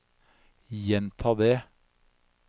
gjenta det